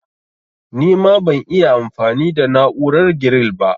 Nima ban'iya anfami da na'urar giril ba